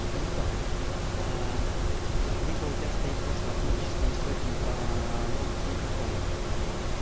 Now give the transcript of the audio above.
либо либо у тебя стоит то что автоматическая настройка громкости микрофона